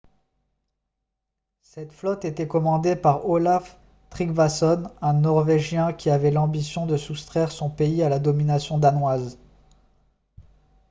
cette flotte était commandée par olaf trygvasson un norvégien qui avait l'ambition de soustraire son pays à la domination danoise